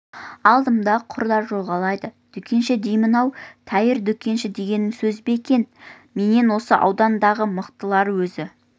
алдымда құрдай жорғалайды дүкенші деймін-ау тәйірі дүкенші дегенің сөз бе екен менен осы аудандағы мықтылары өзі